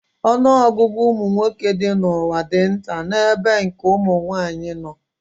Ọnụọgụgụ ụmụ nwoke dị n'ụwa dị nta n'ebe nke ụmụ nwaanyị nọ